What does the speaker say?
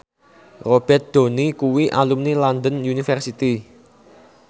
Robert Downey kuwi alumni London University